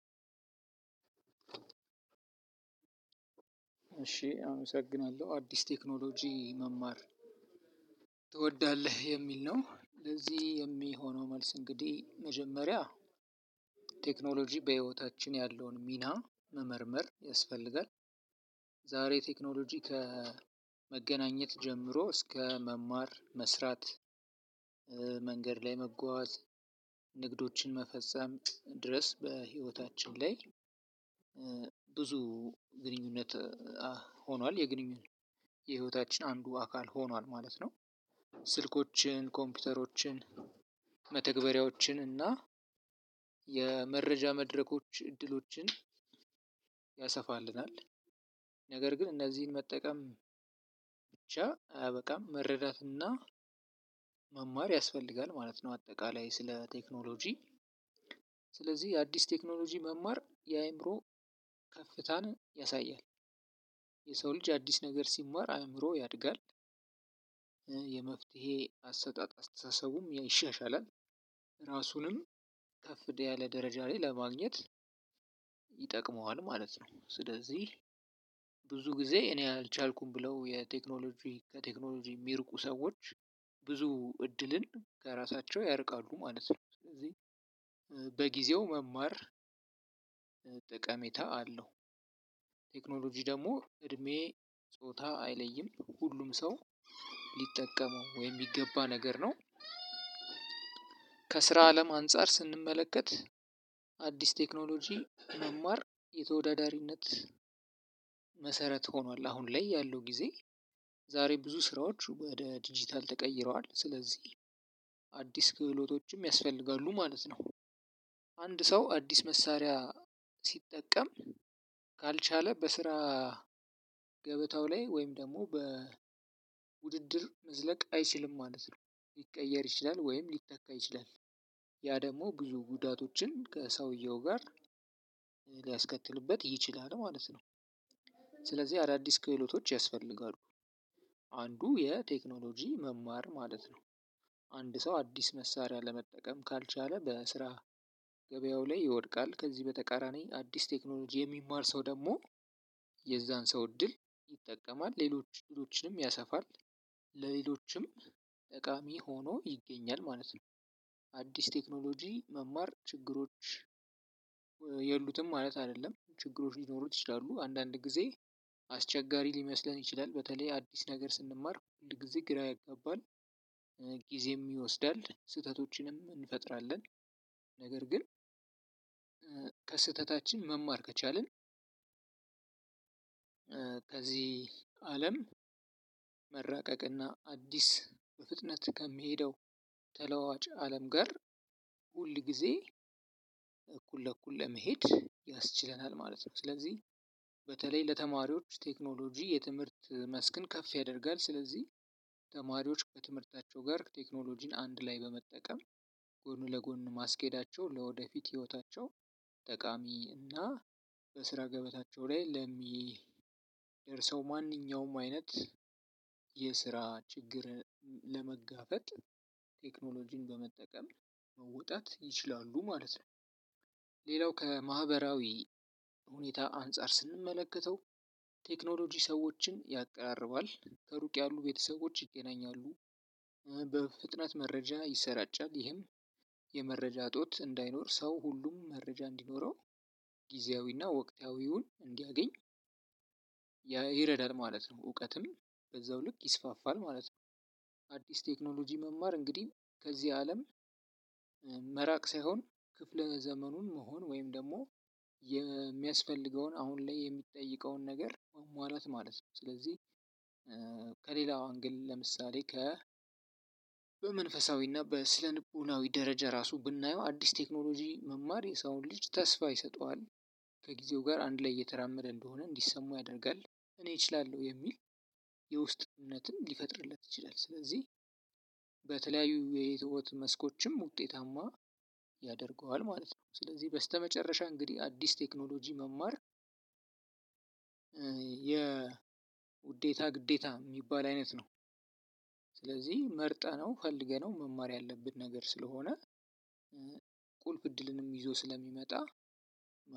እሺ አመሰግናለሁ አዲስ ቴክኖሎጂ መማር ትወዳለህ የሚል ነው ለዚህ የሚሆነው መልስ እንግዲህ መጀመሪያ ቴክኖሎጂ በህይወታችን ያለውን ሚና መመርመር ያስፈልጋል። ዛሬ ቴክኖሎጂ ከመገናኘት ጀምሮ እስከ መማር መስራት ላይ መጓዝ ንግዶችን መፈጸም ድረስ በህይወታችን ላይ ብዙ ግንኙነት ሆኗል የግንኙነት የህይወታችን አንዱ አካል ሆኗል ማለት ነው። ስልኮችን ኮምፒውተሮችን መተግበሪያዎችን እና የመረጃ መድረኮች እድሎችን ያሰፋልናል። ነገር ግን እነዚህን መጠቀም ብቻ አያበቃም መረዳትና መማር ያስፈልጋል ማለት ነው። አጠቃላይ ስለ ቴክኖሎጂ ስለዚህ የአዲስ ቴክኖሎጂ መማር የአእምሮ ከፍታን ያሳያል። የሰው ልጅ አዲስ ነገር ሲማር አእምሮ ያድጋል። ይሻሻል እራሱንም የተሻለ ደረጃ ለማግኘት ይጠቅመዋል ማለት ነው። ስለዚህ ብዙ ጊዜ እኔ አልቻልኩም ብለው ከቴክኖሎጂ የሚርቁ ሰዎች ብዙ ዕድልን በእራሳቸው ያርቃሉ ማለት ነው። በጊዜው መማር ጠቅሜታ አለው። ቴክኖሎጂ ደግሞ እድሜ ጾታ አይለይም ሁሉም ሰው ሊጠቀመው ወይም የሚገባ ነገር ነው። ከስራ አለም አንፃር ስንመለከት አዲስ ቴክኖሎጂ መማር የተወዳዳሪነት መሰረት ሆኗል። አሁን ላይ ያለው ጊዜ ዛሬ ብዙ ስራዎች ወደ ዲጂታል ተቀይረዋል ስለዚህ አዲስ ክህሎቶችም ያስፈልጋሉ ማለት ነው። አንድ ሰው አዲስ መሳሪያ ሲጠቀም ካልቻለ በስራ ገበታው ላይ ወይም ደግሞ በውድድር መዝለቅ አይችልም ማለት ነው። ሊቀየር ይችላል ወይም ሊተካ ይችላል ያ ደግሞ ብዙ ጉዳቶችን ከሰውየው ጋር ሊያስከትልበት ይችላል ማለት ነው። ስለዚህ አዳዲስ ክህሎቶች ያስፈልጋሉ አንዱ የቴክኖሎጂ መማር ማለት ነው። አንድ ሰው አዲስ መሳርያ ለመጠቀም ካልቻለ በስራ ገበያው ላይ ይወድቃል። ከዚ በተቃራኒ አዲስ ቴክኖሎጂ የሚማር ሰው ደሞ የዛን ሰው እድል ይጠቀማል ሌሎችንም ያሰፋል ለሌሎችም ጠቃሚ ሆኖ ይገኛል ማለት ነው። አዲስ ቴክኖሎጂ መማር ችግሮች የሉትም ማለት አይደለም ችግሮች ሊኖሩት ይችላሉ አንዳንድ ጊዜ አስቸጋሪ ሊመስለን ይችላል በተለይ አዲስ ነገር ስንማር ሁል ጊዜ ግራ ያገባል ጊዜም ይወስዳል ስህተቶችንም እንፈጥራለን። ነገር ግን ከስህተታችን መማር ከቻልን ከዚህ አለም መራቀቅና አዲስ በፍጥነት ከሚሄደው ተለዋዋጭ አለም ጋር ሁል ጊዜ እኩል ለእኩል ለመሄድ ያስችለናል ማለት ነው። ስለዚህ በተለይ ለተማሪዎች ቴክኖሎጂ የትምህርት መስክን ከፍ ያደርጋል ስለዚህ ተማሪዎች ከትምህርታቸው ጋር ቴክኖሎጂን አንድ ላይ በመጠቀም ጎን ለጎን ማስኬዳቸው ለወደፊት ህይወታቸው ጠቃሚ እና በስራ ገበታቸው ላይ ለሚደርሰው ማንኛውም አይነት የስራ ችግር ለመጋፈጥ ቴክኖሎጂን በመጠቀም መውጣት ይችላሉ ማለት ነው። ሌላው ከማህበራዊ ሁኔታ አንፃር ስንመለከተው ቴክኖሎጂ ሰዎችን ያቀራርባል ከሩቅ ያሉ ቤተሰቦች ይገናኛሉ። በፍጥነት መረጃ ይሰራጫል ይህም የመረጃ እጦት እንዳይኖር ስው ሁሉም መረጃ እንዲኖረው ግዜያዊ እና ወቅታዊውን እንዲያገኚ ይረዳል ማለት ነው። እውቀትም በዛው ልክ ይስፋፋል ማለት ነው። አዲስ ቴክኖሎጂ መማር እንግዲህ ከዚህ አለም መራቅ ሳይሆን ክፍለ ዘመኑን መሆን ወይም ደግሞ የሚያስፈልገውን አሁን ላይ የሚጠይቀውን ነገር ማሟላት ማለት ነው። ስለዚህ ከሌላ አንግልም ለምሳሌ በመንፈሳዊ እና በስነ ልቦናዊ ራሱ ደረጃ ብናየው አዲስ ቴክኖሎጂ መማር የሰውን ልጅ ተስፋ ይሰጠዋል ከጊዜው ጋር አንድ ላይ እየተራመደ እንደሆነ እንዲሰሙ ያደርጋል። እኔ እችላለሁ የሚል የውስጥነትን ሊፈጥርለት ይችላል። ስለዚህ በተለያዩ የህይወት መስኮችም ውጤታማ ያደርገዋል ማለት ነው። ስለዚህ በስተመጨረሻ እንግዲህ አዲስ ቴክኖሎጂ መማር የውዴታ ግዴታ የሚባል አይነት ነው። ስለዚህ መርጠነው ፈልገነው መማር ያለብን ነገር ስለሆነ ቁልፍ እድልንም ይዞ ስለሚመጣ